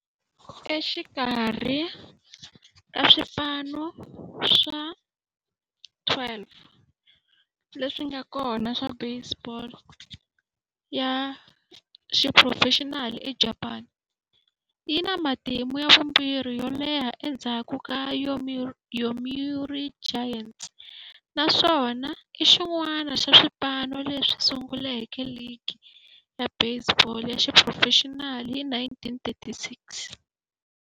Exikarhi ka swipano swa 12 leswi nga kona swa baseball ya xiphurofexinali eJapani, yi na matimu ya vumbirhi yo leha endzhaku ka Yomiuri Giants, naswona i xin'wana xa swipano leswi sunguleke ligi ya baseball ya xiphurofexinali hi 1936.